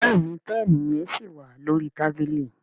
Béèni Pẹ́ẹ̀nì yen sí wá lórí tábìlì.